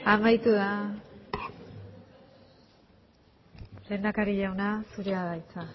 amaitu da lehendakari jauna zurea da hitza